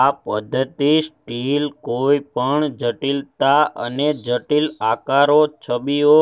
આ પદ્ધતિ સ્ટીલ કોઈપણ જટિલતા અને જટિલ આકારો છબીઓ